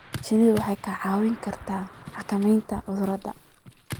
Shinnidu waxay kaa caawin kartaa xakamaynta cudurrada.